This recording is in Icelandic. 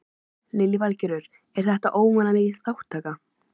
Lillý Valgerður: Er þetta óvenju mikil þátttaka?